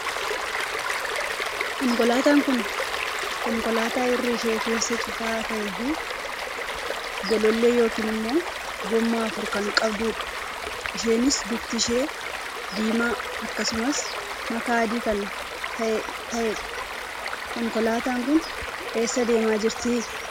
Konkolaataan kun konkolaataa irri ishee keessa cufaa tahee fi golollee yookiin immoo goommaa afur kan qabduu dha. Isheenis bifti ishee diimaa akkasumas makaa adii kan tahee dha. Konkolaataan kun eessa deemaa jirti?